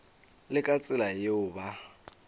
le ka tsela yeo ba